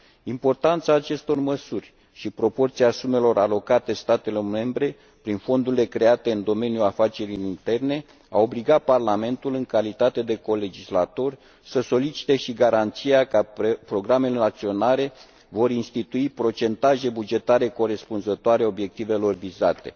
Importanța acestor măsuri și proporția sumelor alocate statelor membre prin fondurile create în domeniul afacerilor interne au obligat Parlamentul, în calitate de colegislator, să solicite și garanția că programele naționale vor institui procentaje bugetare corespunzătoare obiectivelor vizate.